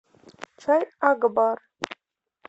чай акбар